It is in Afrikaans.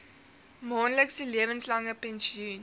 maandelikse lewenslange pensioen